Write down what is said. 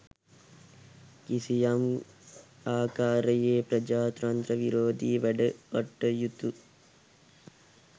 කිසියම් ආකාරයේ ප්‍රජාතන්ත්‍ර විරෝධී වැඩකටයුතු